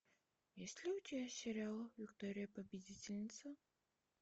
есть ли у тебя сериал виктория победительница